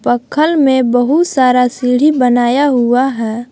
अक्खल में बहुत सारा सीढ़ी बनाया हुआ है।